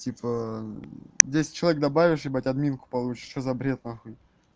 типа десять человек добавишь ебать админку получишь что за бред нахуй